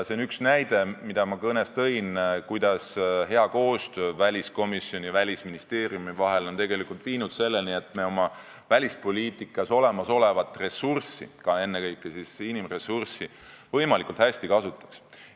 See on üks näide, mille ma kõnes tõin, kuidas hea koostöö väliskomisjoni ja Välisministeeriumi vahel on tegelikult viinud selleni, et me oma välispoliitikas olemasolevaid ressursse, ennekõike inimressurssi, võimalikult hästi kasutaks.